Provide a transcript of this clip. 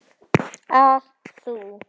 að þú.